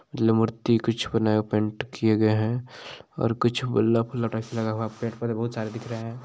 मूर्ति कुछ को नया पेंट किये गये है और कुछ गुल्लक उल्लक टाइप से लगा हुआ है पेड़-पौधे बहुत सारे दिख रहे है।